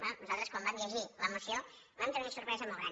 bé nosaltres quan vam llegir la moció vam tenir una sorpresa molt gran